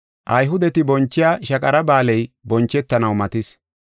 Ayhudeti bonchiya Shaqara Ba7aaley bonchetanaw matis.